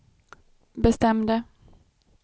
bestämde